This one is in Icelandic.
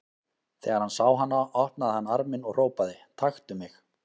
Þegar hann sá hana opnaði hann arminn og hrópaði: Taktu mig!